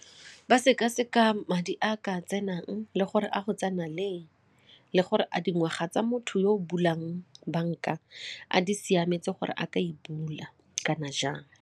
Ba sekaseka madi a ka tsenang le gore a go tsena leng, le gore a dingwaga tsa motho yo o bulang banka a di siametse gore a ka e bula kana jang.